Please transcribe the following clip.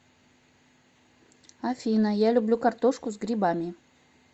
афина я люблю картошку с грибами